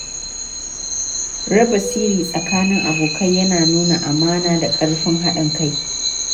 Raba sirri tsakanin abokai yana nuna amana da ƙarfin haɗin kai.